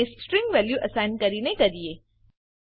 ને string value assign કરીને કરીએ